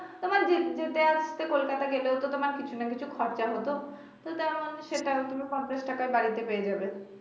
তোমার যেতে আসতে কোলকাতায় গেলেও তো তোমার কিছু না কিছু খরচা হতো তো তেমন সেটাও পঞ্চাশ টাকায় বাড়িতে পেয়ে যাবে।